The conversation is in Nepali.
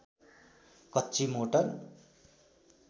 कच्ची मोटर